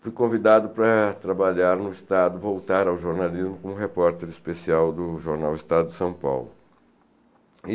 Fui convidado para trabalhar no Estado, voltar ao jornalismo, como repórter especial do jornal Estado de São Paulo.